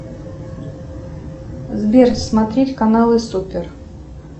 сбер смотреть каналы супер